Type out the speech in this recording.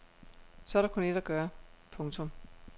Så er der kun ét at gøre. punktum